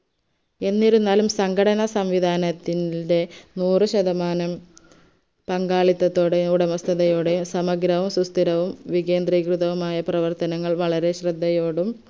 എന്നിരുന്നാലും സങ്കടസംവിദാനത്തിന്റെ നൂറു ശതമാനം പങ്കാളിത്തത്തോടെ ഒടമസ്ഥതയോടെ സമഗ്രവും സുസ്ഥിരവും വികേന്ദ്രികൃതവുമായ പ്രവർത്തനങ്ങൾ വളരെ ശ്രേദ്ധയോടും